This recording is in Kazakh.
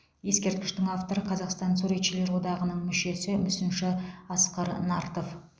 ескерткіштің авторы қазақстан суретшілер одағының мүшесі мүсінші асқар нартов